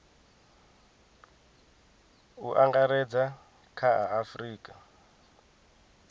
u angaredza kha a afurika